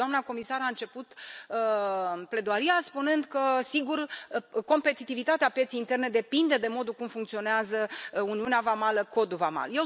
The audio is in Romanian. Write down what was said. Da, doamna comisar a început pledoaria spunând că, sigur, competitivitatea pieței interne depinde de modul în care funcționează uniunea vamală, codul vamal.